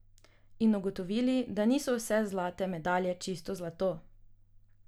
In ugotovili, da niso vse zlate medalje čisto zlato.